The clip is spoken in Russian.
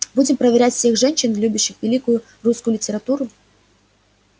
будем проверять всех женщин любящих великую русскую литературу